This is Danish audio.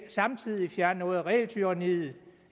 samtidig fjerne noget af regeltyranniet og